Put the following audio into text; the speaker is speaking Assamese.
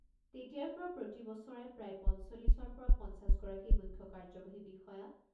তেতিয়াৰ পৰা প্ৰতি বছৰে প্ৰায় পঞ্চল্লিছৰ পৰা পঞ্চাছগৰাকী মুখ্য কাৰ্যবাহী বিষয়া